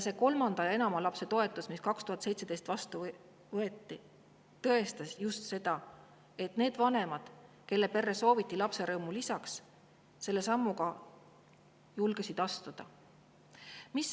See kolme või enama lapsega toetus, mis 2017 loodi, tõestas just seda, et need vanemad, kelle perre sooviti lapserõõmu lisaks, julgesid selle sammu astuda.